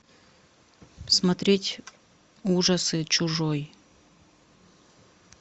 смотреть ужасы чужой